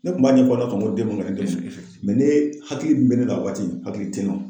Ne kun b'a ɲɛfɔ den ne hakili min bɛ ne la a waati hakili tɛ n na.